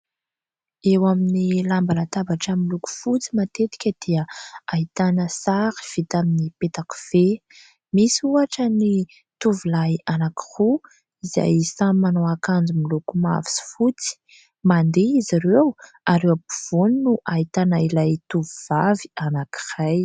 Eo amin'ny lamba latabatra miloko fotsy matetika dia ahitana sary vita amin'ny petakofehy; misy ohatra ny tovolahy anankiroa izay samy manao akanjo miloko mavo sy fotsy, mandeha izy ireo ary eo ampovoany no ahitana ilay tovovavy anankiray.